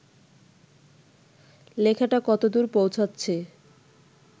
লেখাটা কতদূর পৌঁছাচ্ছে